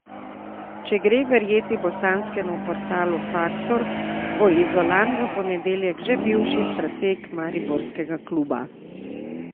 Če gre verjeti bosanskemu portalu Faktor, bo Izolan v ponedeljek že bivši strateg mariborskega kluba.